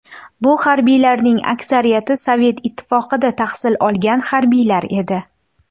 Bu harbiylarning aksariyati Sovet Ittifoqida tahsil olgan harbiylar edi.